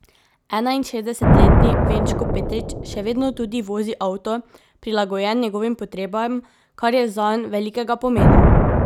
Enainšestdesetletni Venčko Petrič še vedno tudi vozi avto, prilagojen njegovim potrebam, kar je zanj velikega pomena.